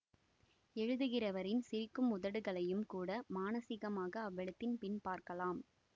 எழுதிகிறவரின் சிரிக்கும் உதடுகளையும் கூட மானசீகமாக அவ்வெழுத்தின் பின் பார்க்கலாம்